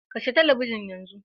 Kashe talabijin yanzu